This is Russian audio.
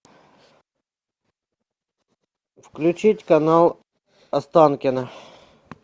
включить канал останкино